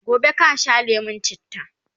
gobe kasha lemun chitta!